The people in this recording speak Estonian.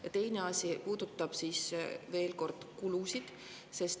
Ja teine asi puudutab, veel kord, kulusid.